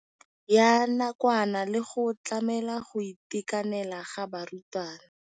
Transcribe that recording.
Ya nakwana le go tlamela go itekanela ga barutwana.